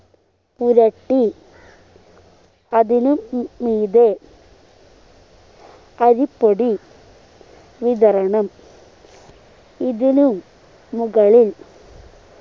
പുരട്ടി അതിനു മീ മീതെ അരിപ്പൊടി വിതറണം ഇതിനും മുകളിൽ